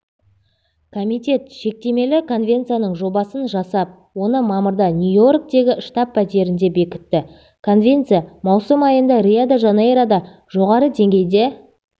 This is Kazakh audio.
комитет шектемелі конвенцияның жобасын жасап оны мамырда нью-йорктегі штаб-пәтерінде бекітті конвенция маусым айында рио-де-жанейрода жоғары деңгейде